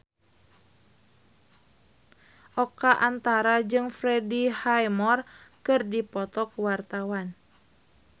Oka Antara jeung Freddie Highmore keur dipoto ku wartawan